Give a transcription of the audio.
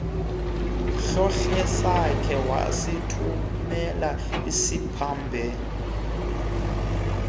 hlohlesakhe wasithumela ezimbabwe